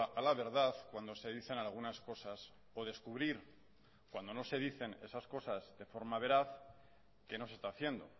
a la verdad cuando se dicen algunas cosas o descubrir cuando no se dicen esas cosas de forma veraz qué no se está haciendo